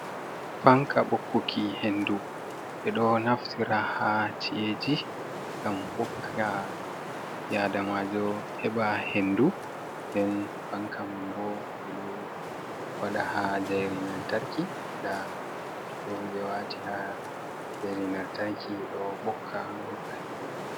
Fanka ɓokkuki hendu ɓe ɗo naftira ha ci’eji ngam ɓokka ɓi adamajo heɓa hendu, nden fanka man bo ɓeɗo waɗa ha jairi lamtarki nda ɗum ɓe wati ha jairi lamtarki ɗo ɓokka ɗo ɓokka hendu.